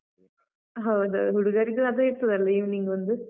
ಹೌದು, ಹುಡುಗರಿದ್ದು ಅದೇ ಇರ್ತದಲ್ಲ, evening ಒಂದು.